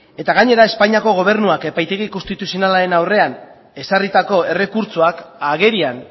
gainera espainiako gobernuak epaitegi konstituzionalaren aurrean ezarritako errekurtsoak agerian